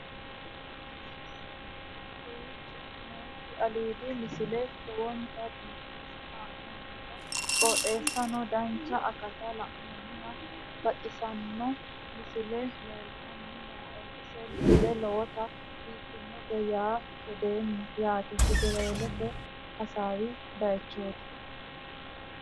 kowicho nooti aliidi misile lowonta biifinse haa'noonniti qooxeessano dancha ikkite la'annohano baxissanno misile leeltanni nooe ini misile lowonta biifffinnote yee hedeemmo yaate federaallete hasawi baychooti